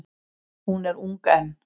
Hún er ung enn.